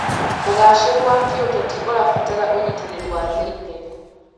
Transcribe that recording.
ũgacĩĩru wa kĩũteti ũrabatara ũnyitanĩri wa thĩiniĩ.